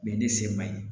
Bɛɛ ye ne se ma ye